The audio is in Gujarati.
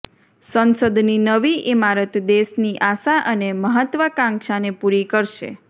સંસદની નવી ઇમારત દેશની આશા અને મહત્ત્વાકાંક્ષાને પૂરી કરશે